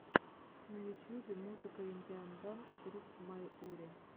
на ютьюбе музыка индиан данс груп майури